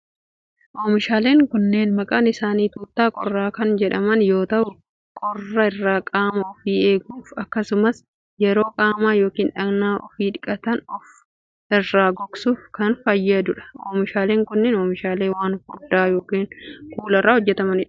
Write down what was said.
Oomishaaleen kunneen, maqaan isaanii xuffta qorraa kan jedhaman yoo ta'u, qorra irraa qaama ofii eeguuf akkasumas yeroo qaama yokin dhaqna ofii dhiqatan of irraa gogsuuf kan fayyadu dha. Oomishaaleen kun, oomishaalee waan furdaa yookin kuula irraa hojjatamuu dha.